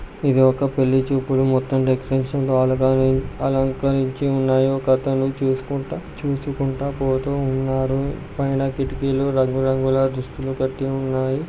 ఇది ఒక పెళ్లి చూపులు మొత్తం డెకరేషన్ అలంకరించి ఉన్నాయి. ఒక అతను చూసుకుంట చూసుకుంట పోతూ ఉన్నాడు. పైన కిటికీలు రంగురంగుల దుస్తులు--